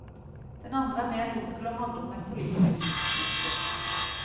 Den andre er mer dunkel og handler om et politisk tidsskifte.